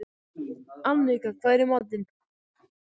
Annika, hvað er í matinn?